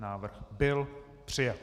Návrh byl přijat.